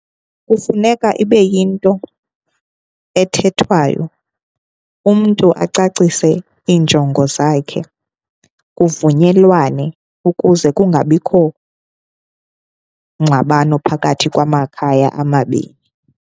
Kufuneka ibe yinto ethethwayo, umntu acacise iinjongo zakhe kuvunyelwane ukuze kungabikho ngxabano phakathi kwamakhaya amabini.